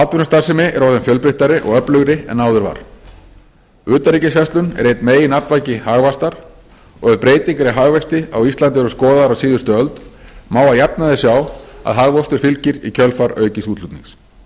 atvinnustarfsemi er orðin fjölbreyttari og öflugri en áður var utanríkisverslun er einn meginaflvaki hagvaxtar og ef breytingar í hagvexti á íslandi eru skoðaðar á síðustu öld má að jafnaði sjá að hagvöxtur fylgir í kjölfar aukins útflutnings